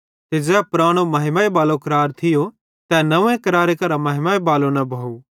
ते ज़ै पुरानो महिमा बालो करार थियो तै नव्वें करारे करां महिमा बालो न भोव